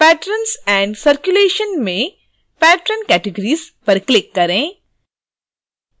patrons and circulation में patron categories पर click करें